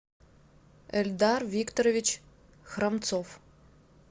эльдар викторович хромцов